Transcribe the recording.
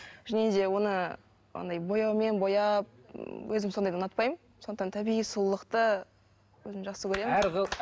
және де оны андай бояумен бояп өзім сондайды ұнатпаймын сондықтан табиғи сұлулықты өзім жақсы көремін әр